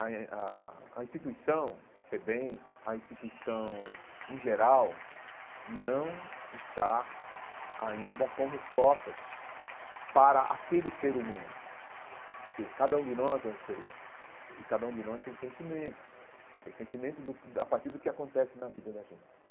A a a instituição, FEBEM, a instituição em geral, não está ainda com respostas para aquele ser humano, porque cada um de nós é um ser humano e cada um de nós tem sentimentos, tem sentimentos do a partir do que acontece na vida da gente.